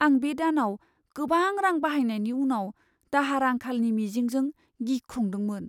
आं बे दानाव गोबां रां बाहायनायनि उनाव दाहार आंखालनि मिजिंजों गिख्रंदोंमोन।